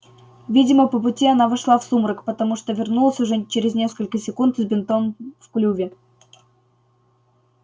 видимо по пути она вошла в сумрак потому что вернулась уже через несколько секунд с бинтом в клюве